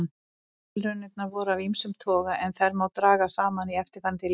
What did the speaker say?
Tilraunirnar voru af ýmsum toga en þær má draga saman í eftirfarandi lýsingu.